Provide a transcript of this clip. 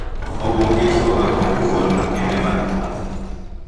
Oboke gi ichiwoga kod duol makende mar pwoth